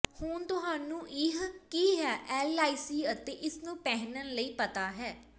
ਹੁਣ ਤੁਹਾਨੂੰ ਹੀ ਕੀ ਹੈ ਐਲਆਈਸੀ ਅਤੇ ਇਸ ਨੂੰ ਪਹਿਨਣ ਲਈ ਪਤਾ ਹੈ